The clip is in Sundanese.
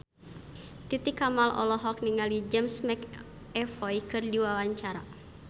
Titi Kamal olohok ningali James McAvoy keur diwawancara